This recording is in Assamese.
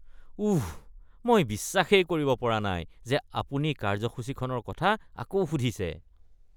উঃ, মই বিশ্বাসেই কৰিব পৰা নাই যে আপুনি কাৰ্যসূচীখনৰ কথা আকৌ সুধিছে!